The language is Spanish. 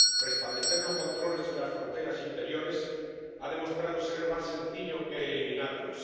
Restablecer los controles en las fronteras interiores ha demostrado ser más sencillo que eliminarlos.